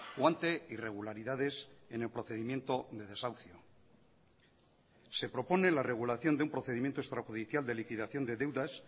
o ante irregularidades en el procedimiento de desahucio se propone la regulación de un procedimiento extrajudicial de liquidación de deudas